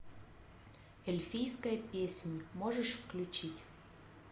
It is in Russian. эльфийская песнь можешь включить